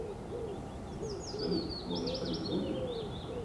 салют может что нибудь выпьем